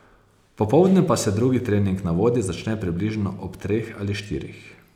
Popoldne pa se drugi trening na vodi začne približno ob treh ali štirih.